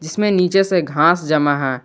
इसमें नीचे से घास जमा है।